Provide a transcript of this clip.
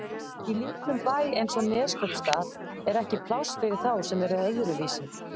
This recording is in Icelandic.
Í litlum bæ eins og Neskaupstað er ekki pláss fyrir þá sem eru öðruvísi.